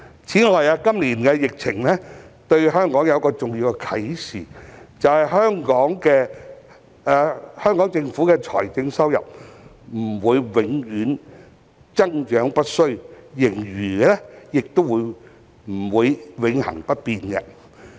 此外，今年的疫情對香港有一個重要的啟示，便是香港政府的財政收入不會永遠增長不衰，盈餘亦不會永恆不變。